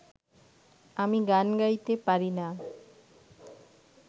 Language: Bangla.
আমি গান গাইতে পারি না